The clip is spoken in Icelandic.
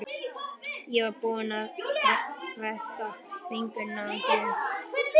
Ég var þá búin að festa fingur á einhverri meinsemd.